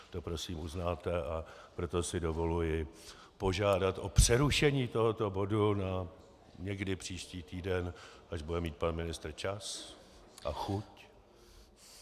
To prosím uznáte, a proto si dovoluji požádat o přerušení tohoto bodu někdy na příští týden, až bude mít pan ministr čas a chuť.